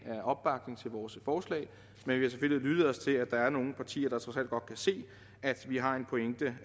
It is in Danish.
er opbakning til vores forslag men vi har lyttet os til at der er nogle partier der trods alt godt kan se at vi har en pointe